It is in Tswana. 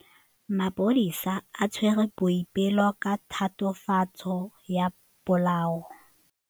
Maphodisa a tshwere Boipelo ka tatofatsô ya polaô.